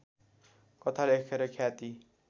कथा लेखेर ख्याति